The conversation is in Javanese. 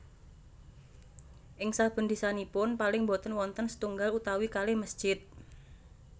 Ing saben desanipun paling boten wonten setunggal utawi kalih mesjid